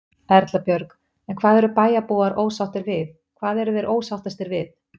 Erla Björg: En hvað eru bæjarbúar ósáttir við, hvað eru þeir ósáttir við?